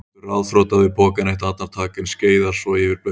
Stendur ráðþrota við pokann eitt andartak en skeiðar svo yfir blautt gólfið.